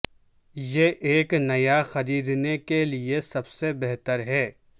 یہ ایک نیا خریدنے کے لئے سب سے بہتر ہے